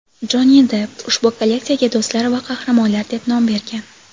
Jonni Depp ushbu kolleksiyaga "Do‘stlar va qahramonlar" deb nom bergan.